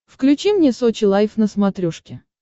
включи мне сочи лайф на смотрешке